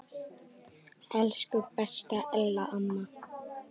Elsku besta Ella amma.